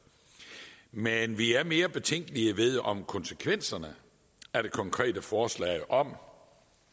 men vi er mere betænkelige ved om konsekvenserne af det konkrete forslag om